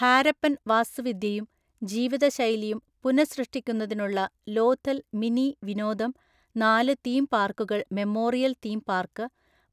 ഹാരപ്പൻ വാസ്തുവിദ്യയും ജീവിതശൈലിയും പുനഃസൃഷ്ടിക്കുന്നതിനുള്ള ലോഥൽ മിനി വിനോദം, നാല് തീം പാർക്കുകൾ മെമ്മോറിയൽ തീം പാർക്ക്,